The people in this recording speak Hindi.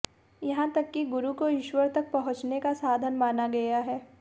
यहां तक कि गुरु को ईश्वर तक पहुंचने का साधन माना गया है